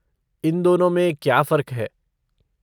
इन दोनों में क्या फ़र्क़ है?